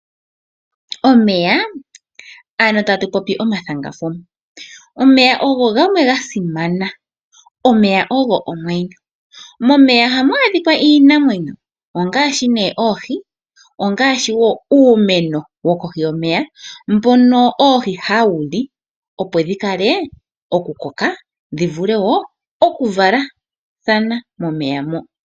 Omeya ano tatu popi omathanga fuma. Omeya ogo gamwe ga simana. Omeya ogo omwenyo. Momeya ohamu adhika iinamwenyo ongaashi nee oohi, ongaashi wo uumeno wokohi yomeya mbono oohi hawu li, opo dhi vule oku koka, dhi vule wo oku valathana momeya mo.